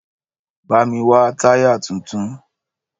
Bá mi wá táyà tuntun